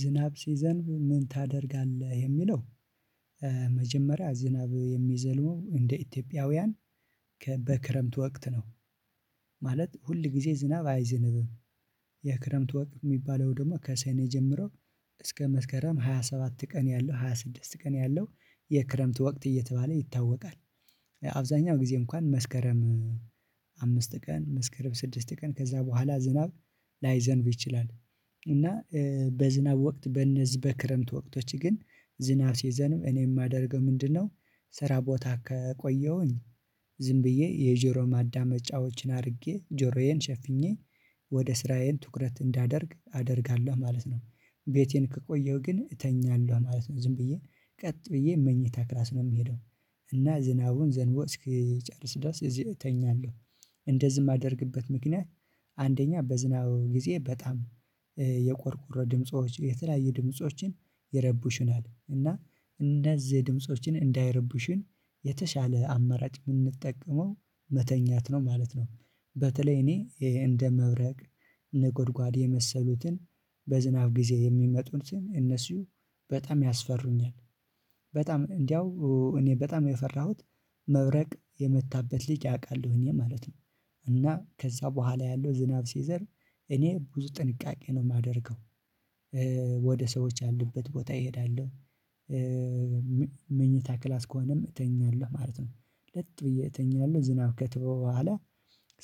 ዝናብ ሲዘንብ ምን ታደርጋለህ የሚለው? መጀመሪያ ዝናብ የሚዘንበው እንደ ኢትዮጵያውያን በክረምት ወቅት ነው ማለት ሁል ጊዜ ዝናብ አይዝንብም። የክረምት ወቅት የሚባለው ደግሞ ከሰኔ ጀምሮ እስከ መስከረም ሃያ ሰባት ቀን ያለው ሃያ ስድስት ቀን ያለው የክረምት ወቅት እየተባለ ይታወቃል። አብዛኛው ጊዜ እንኳን መስከረም አምስት ቀን መስከረም ስድስት ቀን ከዛ በኋላ ዝናብ ላይዘንብ ይችላል። እና በዝናብ ወቅት በእነዚህ በክረምት ወቅቶች ግን ዝናብ ሲዘንብ እኔ የማደርገው ምንድነው? ስራ ቦታ ከቆየሁኝ ዝም ብዬ የጆሮ ማዳመጫዎችን አድርጌ ጆሮዬን ሸፍኜ ወደ ስራዬን ትኩረት እንዳደርግ አደርጋለሁ ማለት ነው። ቤቴን ከቆየሁ ግን እተኛለሁ ማለት ነው። ዝም ብዬ ቀጥ ብዬ መኝታ ክላስ ነው የምሄደው። እና ዝናቡ ዘንቦ እስኪጨርስ ድረስ እዚህ እተኛለሁ። እንደዚህ የማደርግበት ምክንያት አንደኛ በዝናቡ ጊዜ በጣም የቆርቆሮ ድምጾች የተለያየ ድምጾች ይረቡሽናል እና እነዚህ ድምጾች እንዳይረብሹኝ የተሻለ አመራጭ የምንጠቀመው መተኛት ነው ማለት ነው። በተለይ እኔ እንደ መብረቅ ንጎድጓድ የመሰሉትን በዝናብ ጊዜ የሚመጡትን እነሱ በጣም ያስፈሩኛል። በጣም እንደው እኔ በጣም የፈራሁት መብረቅ የመታበት ሊቅ ያውቃሉ ሁኜ እኔ ማለት ነው። እና ከዛ በኋላ ያለው ዝናብ ሲዘር እኔ ብዙ ጥንቃቄ ነው የማደርገው። ወደ ሰዎች ያሉበት ቦታ እሄዳለሁ። መኝታ ክላስ ከሆነም እተኛለሁ ማለት ነው። ለጥ ብዬ እተኛለሁ ዝናብ ከተወ በኋላ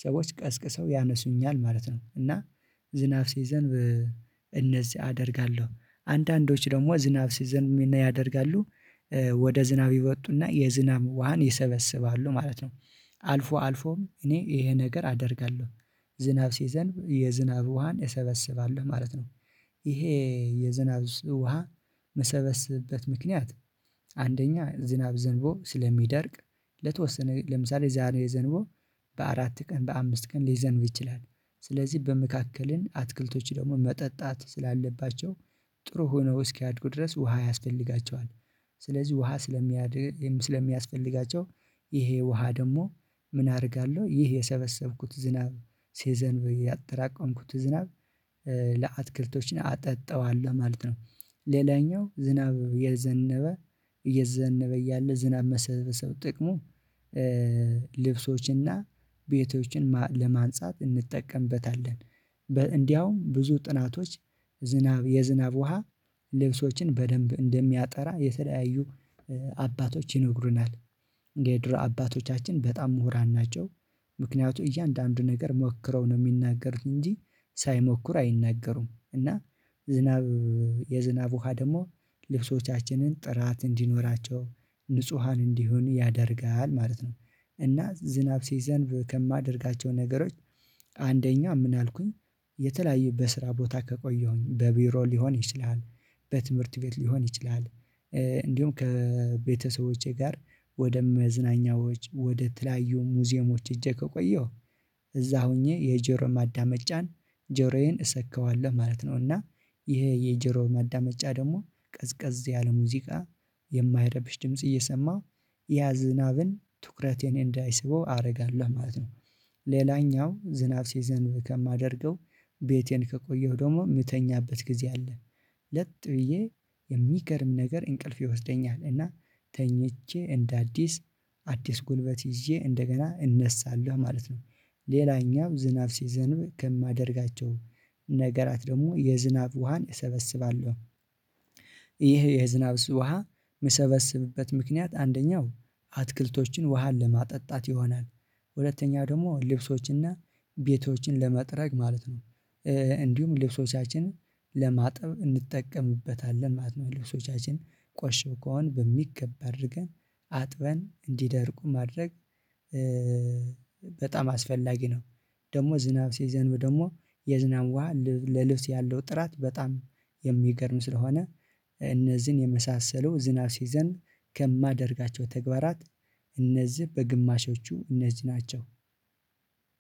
ሰዎች ቀስቅሰው ያነሱኛል ማለት ነው። እና ዝናብ ሲዘንብ እንደዚህ አደርጋለሁ አንዳንዶች ደግሞ ዝናብ ሲዘንብ ምን ያደርጋሉ? ወደ ዝናብ ይወጡና የዝናብ ውሃን ይሰበስባሉ ማለት ነው። አልፎ አልፎም እኔ ይሄ ነገር አደርጋለሁ። ዝናብ ሲዘንብ የዝናብ ውሃን እሰበስባለሁ ማለት ነው። ይሄ የዝናብ ውሃ ምሰበስብበት ምክንያት። አንደኛ ዝናብ ዘንቦ ስለሚደርቅ ለተወሰነ ለምሳሌ ዛሬ ዘንቦ በአራት ቀን በአምስት ቀን ሊዘንብ ይችላል። ስለዚህ በመካከል አትክልቶች ደግሞ መጠጣት ስላለባቸው ጥሩ ሆነው እስኪያድጉ ድረስ ውሃ ያስፈልጋቸዋል። ስለዚህ ውሃ ስለሚያድግ ስለሚያስፈልጋቸው ይሄ ውሃ ደግሞ ምን አደርጋለሁ ይሄ የሰበሰብኩት ዝናብ ሲዘንብ ያጠራቀምኩት ዝናብ። ለአትክልቶች አጠጣዋለሁ ማለት ነው። ሌላኛው ዝናብ የዘነበ እየዘነበ እያለ ዝናብ መሰብሰብ ጥቅሙ ልብሶችንና ቤቶችን ለማንጻት እንጠቀምበታለን። እንደውም ብዙ ጥናቶች ዝናብ የዝናብ ውሃ ልብሶችን በደንብ እንደሚያጠራ የተለያዩ አባቶች ይነግሩናል። የድሮ አባቶቻችን በጣም ምሁራን ናቸው። ምክንያቱም እያንዳንዱ ነገር ሞክረው ነው የሚናገሩት እንጂ ሳይሞክሩ አይናገሩም። እና ዝናብ የዝናብ ውሃ ደግሞ ልብሶቻችንን ጥራት እንዲኖራቸው ንጹሃን እንዲሆን ያደርጋል ማለት ነው። እና ዝናብ ሲዘንብ ከማደርጋቸው ነገሮች አንደኛ ምን አልኩኝ? የተለያዩ በስራ ቦታ ከቆየሁኝ በቢሮ ሊሆን ይችላል። በትምህርት ቤት ሊሆን ይችላል። እንዲሁም ከቤተሰቦቼ ጋር ወደ መዝናኛዎች ወደ ተለያዩ ሙዚየሞች ሄጄ ከቆየሁ እዛ ሆኜ የጆሮ ማዳመጫን ጆሮዬን እሰካዋለሁ ማለት ነው። እና ይሄ የጆሮ ማዳመጫ ደግሞ ቀዝቀዝ ያለ ሙዚቃ የማይረብሽ ድምጽ እየሰማሁ ያ ዝናብም ትኩረቴን እንዳይስበው አደርጋለሁ ማለት ነው። ሌላኛው ዝናብ ሲዘንብ ከማደርገው ቤቴን ከቆየሁ ደግሞ የምተኛበት ጊዜ አለ። ለጥ ብዬ የሚገርም ነገር እንቅልፍ ይወስደኛል እና ተኝቼ እንደ አዲስ አዲስ ጉልበት ይዤ እንደገና እነሳለሁ ማለት ነው። ሌላኛው ዝናብ ሲዘንብ ከማደርጋቸው ነገራት ደግሞ የዝናብ ውሃን እሰበስባለሁ። ይህ የዝናብ ውሃ የምሰበስብበት ምክንያት አንደኛው አትክልቶችን ውሃን ለማጠጣት ይሆናል። ሁለተኛ ደግሞ ልብሶችና ቤቶችን ለመጥረግ ማለት ነው። እንዲሁም ልብሶቻችንን ለማጠብ እንጠቀምበታለን ማለት ነው። ልብሶቻችን ቆሽሸው ከሆነ በሚገባ አድርገን አጥበን እንዲደርቁ ማድረግ በጣም አስፈላጊ ነው። ደግሞ ዝናብ ሲዘንብ ደግሞ የዝናብ ውሃ ለልብስ ያለው ጥራት በጣም የሚገርም ስለሆነ እነዚህን የመሳሰሉ ዝናብ ሲዘንብ ከማደርጋቸው ተግባራት። እነዚህ በግማሾቹ እነዚህ ናቸው።